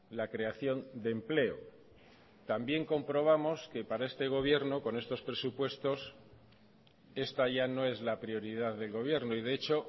la creación de empleo también comprobamos que para este gobierno con estos presupuestos esta ya no es la prioridad del gobierno y de hecho